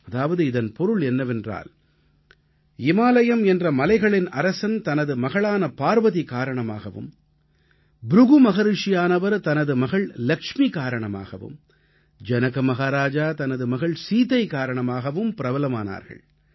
அதாவது இதன் பொருள் என்னவென்றால் இமாலயம் என்ற மலைகளின் அரசன் தனது மகளான பார்வதி காரணமாகவும் ப்ருகு மஹரிஷியானவர் தனது மகள் இலக்ஷ்மி காரணமாகவும் ஜனக மஹாராஜா தனது மகள் சீதை காரணமாகவும் பிரபலமானார்கள்